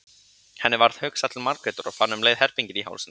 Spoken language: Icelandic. Henni varð hugsað til Margrétar og fann um leið herpinginn í hálsinum.